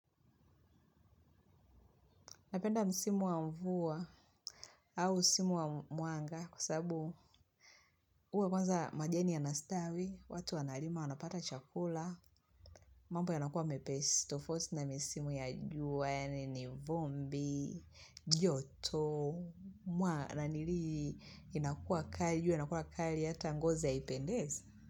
Napenda msimu wa mvua au simu wa mwanga kwa sababu huwa kwanza majani yanastawi, watu wanalima wanapata chakula, mambo yanakua mepesi tofauti na misimu ya juani, nivumbi, joto, mwa nanili inakua kali, jua linakua kali hata ngozi haipendezi.